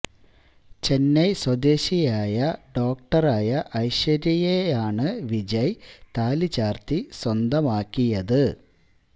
ചെന്നൈ സ്വദേശിയായ ഡോക്ടറായ ഐശ്വര്യയെ ആണ് വിജയ് താലി ചാര്ത്തി സ്വന്തമാക്കിയത്